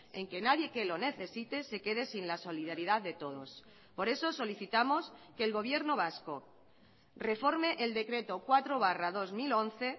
en que nadie que lo necesite se quede sin la solidaridad de todos por eso solicitamos que el gobierno vasco reforme el decreto cuatro barra dos mil once